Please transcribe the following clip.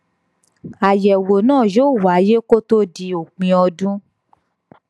àyèwò náà yóò wáyé kó tó di òpin ọdún